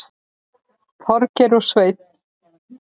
Þorgeir og Sveinn.